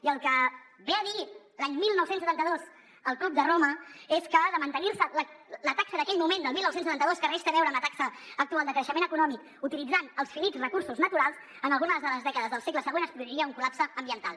i el que ve a dir l’any dinou setanta dos el club de roma és que de mantenir se la taxa d’aquell moment del dinou setanta dos que res té a veure amb la taxa actual de creixement econòmic utilitzant els finits recursos naturals en algunes de les dècades del segle següent es produiria un col·lapse ambiental